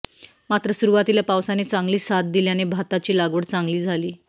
मात्र सुरुवातीला पावसाने चांगली साथ दिल्याने भाताची लागवड चांगली झाली